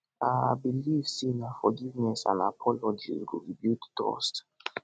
i believe say na forgiveness and apologies go rebuild trust